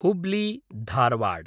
हुब्ली-धारवाड्